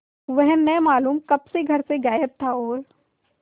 वह न मालूम कब से घर से गायब था और